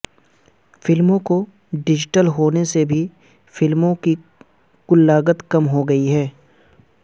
فلموں کے ڈیجیٹل ہونے سے بھی فلموں کی کل لاگت کم ہوگئی ہے